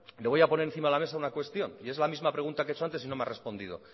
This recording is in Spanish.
le voy a poner encima de la mesa una cuestión y es la misma pregunta que he hecho antes y no me ha respondido